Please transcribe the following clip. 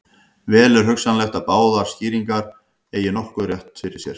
Vel er hugsanlegt að báðar skýringarnar eigi nokkurn rétt á sér.